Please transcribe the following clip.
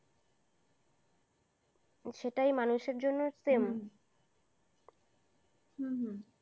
সেটাই মানুষের জন্য same । হু